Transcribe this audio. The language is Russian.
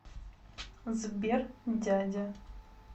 сбер дядя